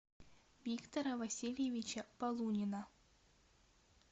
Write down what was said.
виктора васильевича полунина